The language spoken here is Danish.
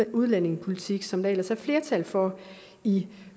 udlændingepolitik som der ellers er flertal for i